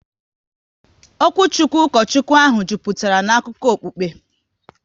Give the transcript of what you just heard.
Okwuchukwu Ukochukwu ahụ jupụtara na akụkọ okukpe